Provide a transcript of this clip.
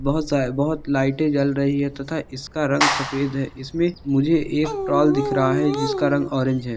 बहोत स बहोत लाइट जल रही है तथा इसका रंग सफेद है इसमे मुझे एक प्रोल दिख रहा है जिसका रंग ऑरेंज है।